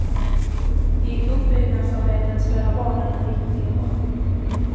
I uppbyggnadsarbetet spelar barnen en viktig roll.